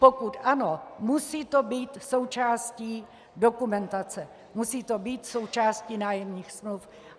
Pokud ano, musí to být součástí dokumentace, musí to být součástí nájemních smluv.